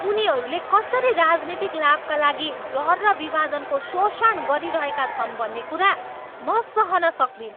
उनीहरूले कसरी राजनीतिक लाभका लागि डर र विभाजनको शोषण गरिरहेका छन् भन्ने कुरा म सहन सक्दिनँ।